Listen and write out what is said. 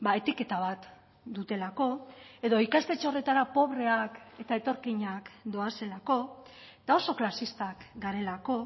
etiketa bat dutelako edo ikastetxe horretara pobreak eta etorkinak doazelako eta oso klasistak garelako